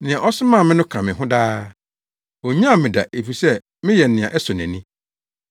Nea ɔsomaa me no ka me ho daa. Onnyaw me da efisɛ meyɛ nea ɛsɔ nʼani.”